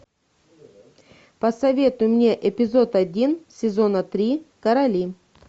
посоветуй мне эпизод один сезона три короли